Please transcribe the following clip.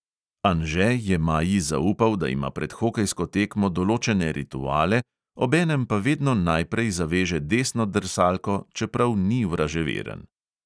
Anže je maji zaupal, da ima pred hokejsko tekmo določene rituale, obenem pa vedno najprej zaveže desno drsalko, čeprav ni vraževeren.